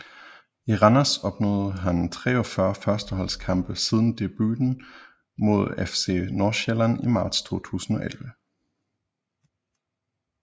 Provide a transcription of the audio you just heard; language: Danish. I Randers opnåede han 43 førsteholdskampe siden debuten mod FC Nordsjælland i marts 2011